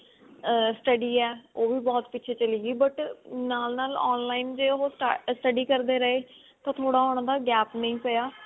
ਅਹ study ਹੈ ਉਹ ਵੀ ਬਹੁਤ ਪਿੱਛੇ ਚਲੀ ਗਈ but ਨਾਲ ਨਾਲ online ਦੇ ਉਹ study ਕਰਦੇ ਰਹੇ ਤਾਂ ਥੋੜਾ ਉਹਨਾ ਦਾ gap ਨੀ ਪਿਆ